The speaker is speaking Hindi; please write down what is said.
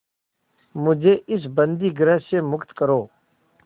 मुझे इस बंदीगृह से मुक्त करो